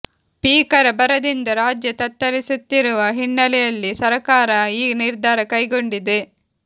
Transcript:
ಭೀಕರ ಬರದಿಂದ ರಾಜ್ಯ ತತ್ತರಿಸುತ್ತಿರುವ ಹಿನ್ನೆಲೆಯಲ್ಲಿ ಸರಕಾರ ಈ ನಿರ್ಧಾರ ಕೈಗೊಂಡಿದೆ